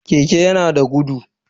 Keke yana da gudu.